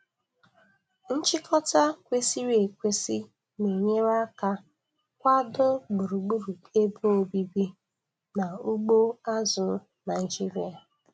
Nchịkọta kwesịrị ekwesị na-enyere aka kwado gburugburu ebe obibi na ugbo azụ̀ Naịjiria.